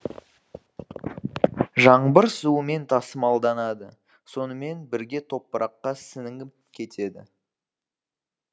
жаңбыр суымен тасымалданады сонымен бірге топыраққа сіңіп кетеді